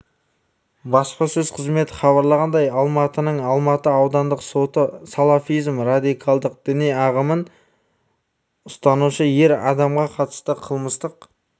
баспасөз қызметі хабарлағандай алматының алматы аудандық соты салафизм радикалдық діни ағымын ұстанушы ер адамға қатысты қылмыстық